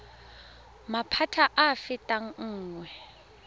maphata a a fetang nngwe